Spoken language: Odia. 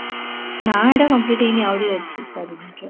ନା ଏଟା complete ହେଇନି ଆହୁରି ଅଛି ଚାରି minute ର